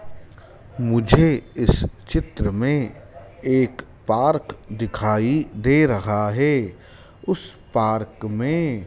मुझे इस चित्र में एक पार्क दिखाई दे रहा है उस पार्क में--